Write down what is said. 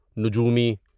نجومی